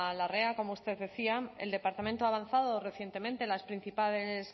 larrea como usted decía el departamento ha avanzado recientemente en las principales